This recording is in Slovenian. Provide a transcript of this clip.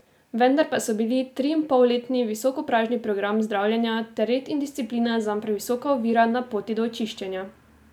Vendar pa so bili triinpolletni visokopražni program zdravljenja ter red in disciplina zanj previsoka ovira na poti do očiščenja.